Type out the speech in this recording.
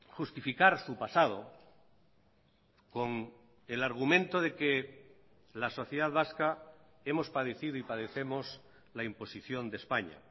justificar su pasado con el argumento de que la sociedad vasca hemos padecido y padecemos la imposición de españa